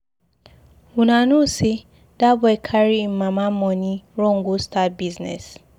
Una no say dat boy carry im mama money run go start business.